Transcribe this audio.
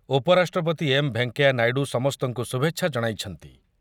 ଉପରାଷ୍ଟ୍ରପତି ଏମ୍ ଭେଙ୍କେୟା ନାଇଡ଼ୁ ସମସ୍ତଙ୍କୁ ଶୁଭେଚ୍ଛା ଜଣାଇଛନ୍ତି ।